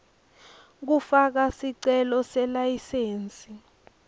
kufaka sicelo selayisensi